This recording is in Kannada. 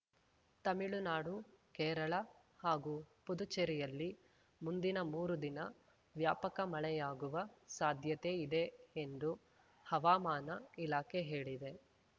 ತಮಿಳುನಾಡು ಕೇರಳ ಹಾಗೂ ಪುದುಚೇರಿಯಲ್ಲಿ ಮುಂದಿನ ಮೂರು ದಿನ ವ್ಯಾಪಕ ಮಳೆಯಾಗುವ ಸಾಧ್ಯತೆ ಇದೆ ಎಂದು ಹವಾಮಾನ ಇಲಾಖೆ ಹೇಳಿದೆ